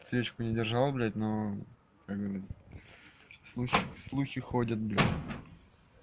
свечку не держал блядь но как бы слухи слухи ходят